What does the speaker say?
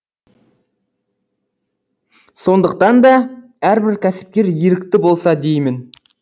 сондықтан да әрбір кәсіпкер ерікті болса деймін